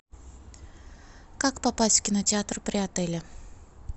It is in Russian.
как попасть в кинотеатр при отеле